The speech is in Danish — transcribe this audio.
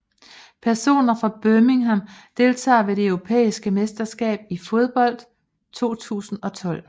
Personer fra Birmingham Deltagere ved det europæiske mesterskab i fodbold 2012